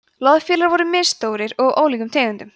loðfílar voru misstórir og af ólíkum tegundum